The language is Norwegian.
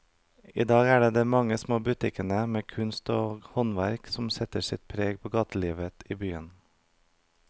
I dag er det de mange små butikkene med kunst og håndverk som setter sitt preg på gatelivet i byen.